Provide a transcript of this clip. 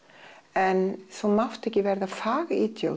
en þú mátt ekki verða fag